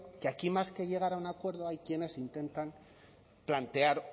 que aquí más que llegar a un acuerdo hay quienes intentan plantear